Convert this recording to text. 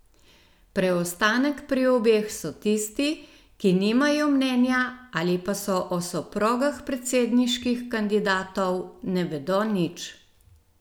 Preostanek pri obeh so tisti, ki nimajo mnenja ali pa o soprogah predsedniških kandidatov ne vedo nič.